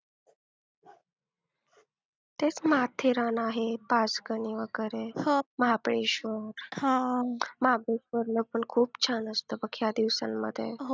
तेच माथेरान आहे, पाचगणी वगैरे महाबळेश्वर. महाबळेश्वरला पण खूप छान असतं बघ या दिवसांमध्ये.